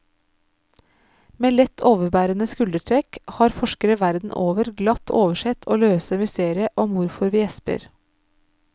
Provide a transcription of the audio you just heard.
Med lett overbærende skuldertrekk har forskere verden over glatt oversett å løse mysteriet om hvorfor vi gjesper.